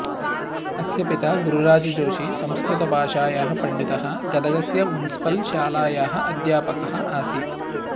अस्य पिता गुरुराजजोशी संस्कृतभाषायाः पण्डितः गदगस्य मुन्सिपल् शालायाः अध्यापकः आसीत्